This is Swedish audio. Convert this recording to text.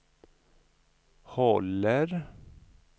håller